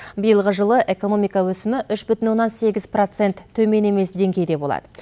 биылғы жылы экономика өсімі үш бүтін оннан сегіз процент төмен емес деңгейде болады